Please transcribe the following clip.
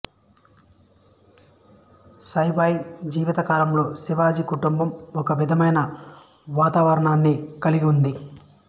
సైబాయి జీవిత కాలంలో శివాజీ కుటుంబం ఒకే విధమైన వాతావరణాన్ని కలిగి ఉంది